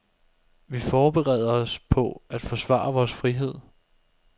Vi forbereder os på at forsvare vores frihed.